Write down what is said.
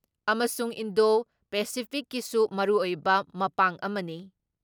ꯑꯃꯁꯨꯡ ꯏꯟꯗꯣ ꯄꯦꯁꯤꯐꯤꯛꯀꯤꯁꯨ ꯃꯔꯨꯑꯣꯏꯕ ꯃꯄꯥꯡ ꯑꯃꯅꯤ ꯫